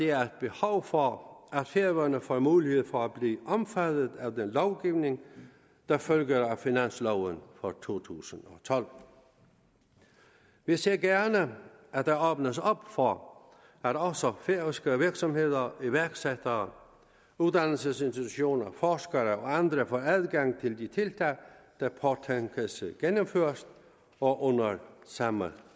er et behov for at færøerne får mulighed for at blive omfattet af den lovgivning der følger af finansloven for to tusind og tolv vi ser gerne at der åbnes op for at også færøske virksomheder iværksættere uddannelsesinstitutioner forskere og andre får adgang til de tiltag der påtænkes gennemført og under samme